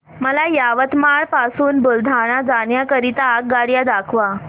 मला यवतमाळ पासून बुलढाणा जाण्या करीता आगगाड्या दाखवा